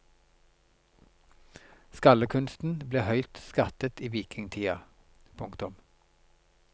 Skaldekunsten ble høyt skattet i vikingtida. punktum